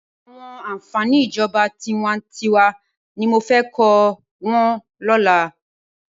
Awòn ànfání ijòbá tiwàntiwá ni mó fè kò wòn lòlá